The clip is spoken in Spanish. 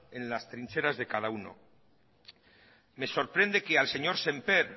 en las trincheras de cada uno me sorprende que al señor sémper